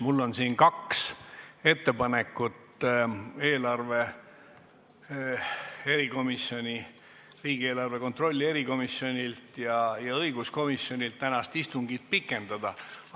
Mul on ettepanek riigieelarve kontrolli erikomisjonilt ja õiguskomisjonilt tänast istungit pikendada.